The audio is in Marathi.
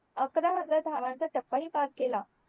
अकरा हजार धावांचा टपा हि पार केला